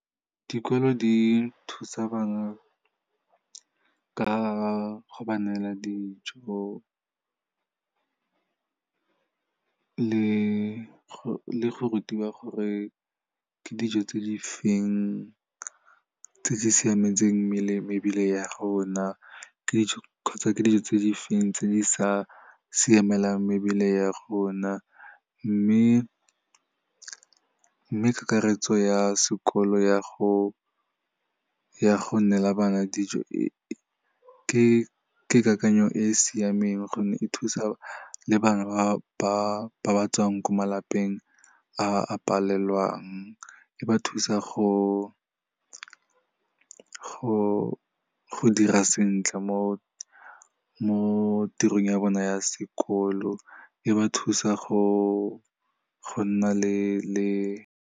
Dikolo di thusa bangwe ka go ba neela dijo le go rutiwa gore ke dijo tse di feng tse di siametseng mebele ya rona, kgotsa ke dijo tse di feng tse di sa siamelang mebele ya rona. Mme kakaretso ya sekolo ya go nnela bana dijo ke kakanyo e siameng gonne e thusa le bana ba batswang ko malapeng a palelwang, e ba thusa go dira sentle mo tirong ya bona ya sekolo, e ba thusa go nna le.